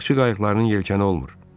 Balıqçı qayıqlarının yelkəni olmur.